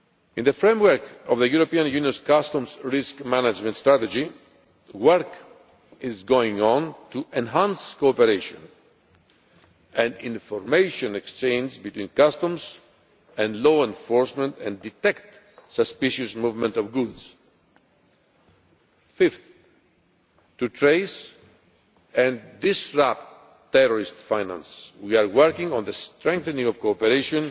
In the framework of the European Union's Customs Risk Management Strategy, work is going on to enhance cooperation and information exchange between customs and law enforcement and to detect suspicious movements of goods. Fifthly, in order to trace and disrupt terrorist financing, we are working on the strengthening of cooperation